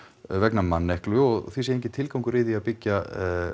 vegna manneklu og því sé enginn tilgangur í því að byggja